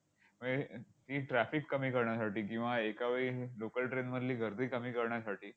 म हे ही traffic कमी करण्यासाठी किंवा एकावेळी local train मधली गर्दी कमी करण्यासाठी